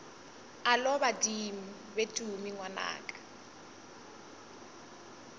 alo badimo be tumi ngwanaka